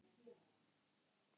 Ég er hræddur um ekki.